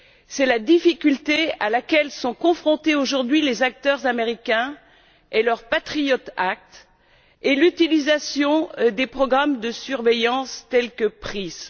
C'est la difficulté à laquelle sont confrontés, aujourd'hui, les acteurs américains avec leur Patriot Act et l'utilisation des programmes de surveillance tels que PRISM.